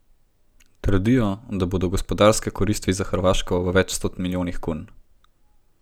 Trdijo, da bodo gospodarske koristi za Hrvaško v več sto milijonih kun.